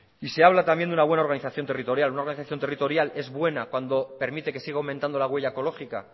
se habla también de una buena organización territorial una organización territorial es buena cuando permite que siga aumentando la huella ecológica